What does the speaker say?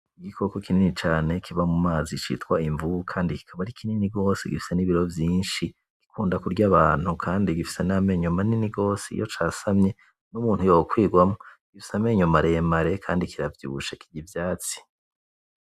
Igikoko kinini cane kiba mu mazi citwa imvuka kandi kikaba ari kinini gose gifise n'ibiro vyinshi, gikunda kurya abantu kandi gifise na menyo manini gose, iyo casamye n'umuntu yokwirwamo. Gifise amenyo mare mare kandi kiravyibushe, kirya ivyatsi.